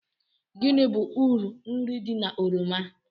Gịnị bụ uru nri di na oroma